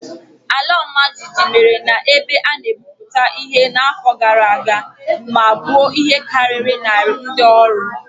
Ala ọmajiji mere na ebe a na-egwuputa ihe n'afọ gara aga ma gbuo ihe karịrị narị ndị ọrụ.